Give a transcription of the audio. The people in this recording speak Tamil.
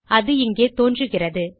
அது இங்கே தோன்றுகிறது